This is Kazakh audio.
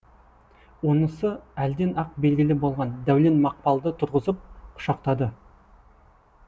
онысы әлден ақ белгілі болған дәулет мақпалды тұрғызып құшақтады